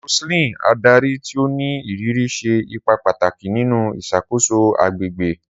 Roseline, adari ti o ni iriri, ṣe ipa pataki ninu iṣakoso agbegbe.